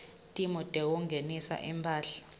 timo tekungenisa imphahla